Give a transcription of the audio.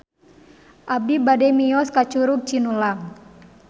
Abi bade mios ka Curug Cinulang